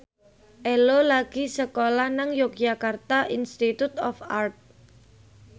Ello lagi sekolah nang Yogyakarta Institute of Art